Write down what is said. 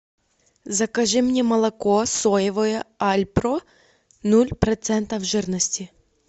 закажи мне молоко соевое альпро ноль процентов жирности